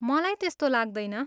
मलाई त्यस्तो लाग्दैन।